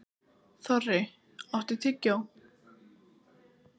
Þorri, áttu tyggjó?